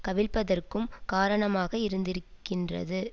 கவிழ்ப்பதற்கும் காரணமாக இருந்திருக்கின்றது